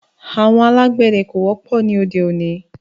Àwọn alàgbéde ko wópò ní óde oni